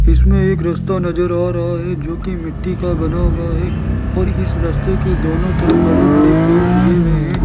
इसमें एक राश्ता नजर आ रहा है जो की मिट्टी का बना हुआ है और इस रास्ते के दोनों तरफ बड़े बड़े पेड़ उगे हुए हैं।